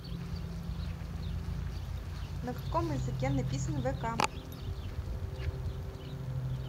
на каком языке написан вк